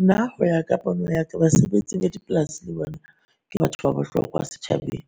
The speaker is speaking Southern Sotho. Nna ho ya ka pono ya ka basebetsi ba dipolasi le bona ke batho ba bohlokwa setjhabeng.